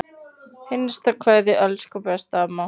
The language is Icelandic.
HINSTA KVEÐJA Elsku besta amma.